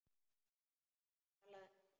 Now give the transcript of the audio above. Talaðu ensku!